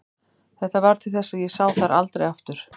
Þetta varð til þess að ég sá þær aldrei aftur.